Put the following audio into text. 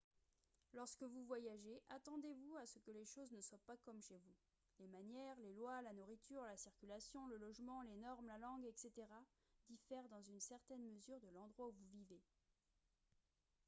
lorsque vous voyagez attendez-vous à ce que les choses ne soient pas comme « chez vous ». les manières les lois la nourriture la circulation le logement les normes la langue etc. diffèrent dans une certaine mesure de l’endroit où vous vivez